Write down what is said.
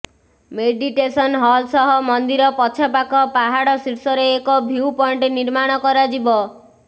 meditation hall ସହ ମନ୍ଦିର ପଛପାଖ ପାହାଡ ଶୀର୍ଷରେ ଏକ ଭ୍ୟୁ ପଏଣ୍ଟ ନିର୍ମାଣ କରାଯିବ